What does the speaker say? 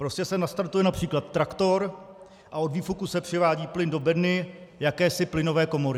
Prostě se nastartuje například traktor a od výfuku se přivádí plyn do bedny, jakési plynové komory.